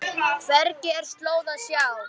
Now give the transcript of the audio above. Hvergi er slóð að sjá.